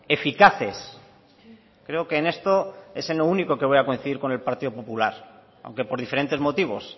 eficaces creo que en esto es en lo único que voy a coincidir con el partido popular aunque por diferentes motivos